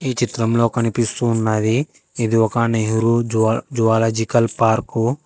చిత్రంలో కనిపిస్తూ ఉన్నది ఇది ఒక నెహ్రూ జువా జువాలజికల్ పార్కు .